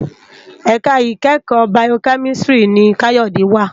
Èká ikèékò Bàyókèmísìtrí ni Kayode wá